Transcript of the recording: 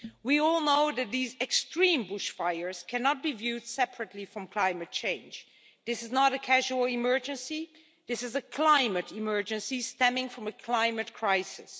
We all know that these extreme bush fires cannot be viewed separately from climate change. This is not a casual emergency this is a climate emergency, stemming from a climate crisis.